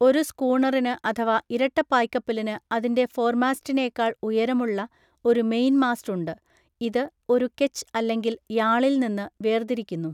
ഒരു സ്കൂണറിന് അഥവാ ഇരട്ട പായ്കപ്പലിന് അതിൻ്റെ ഫോർമാസ്റ്റിനേക്കാൾ ഉയരമുള്ള ഒരു മെയിൻമാസ്റ്റ് ഉണ്ട്, ഇത് ഒരു കെച്ച് അല്ലെങ്കിൽ യാളിൽ നിന്ന് വേർതിരിക്കുന്നു.